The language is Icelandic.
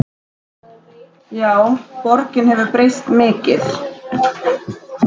Já, borgin hefur breyst mikið.